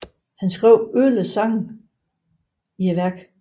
Han skrev 11 sange i værket